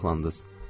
Siz maraqlandınız.